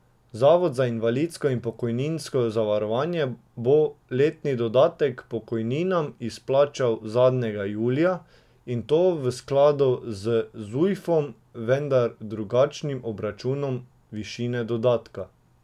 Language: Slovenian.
Zavod za invalidsko in pokojninsko zavarovanje bo letni dodatek k pokojninam izplačal zadnjega julija, in to v skladu z zujfom, vendar drugačnim obračunom višine dodatka.